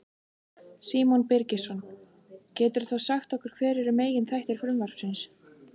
Símon Birgisson: Geturðu þá sagt okkur hver eru meginþættir frumvarpsins?